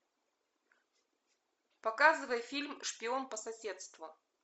показывай фильм шпион по соседству